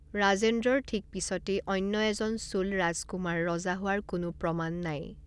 ৰাজেন্দ্ৰৰ ঠিক পিছতেই অন্য এজন চোল ৰাজকুমাৰ ৰজা হোৱাৰ কোনো প্ৰমাণ নাই।